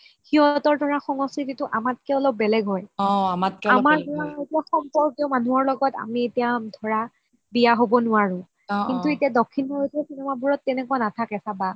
সিহঁতৰ ধৰা সংস্কৃতিটো আমাটকে অলপ বেলেগ হয় আমাৰ ধৰা আমাৰ ধৰা এতিয়া সম্পৰ্কীয় মানুহৰ লগত আমি এতিয়া ধৰা বিয়া হব নোৱাৰো কিন্তু এতিয়া দক্ষিণ ভাৰতৰ cinema বোৰত তেনেকুৱা নাথাকে চাবা